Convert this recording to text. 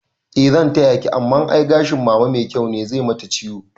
Eh zan tayaki amma ai gashin mama mai kyau ne, zai mata ciwo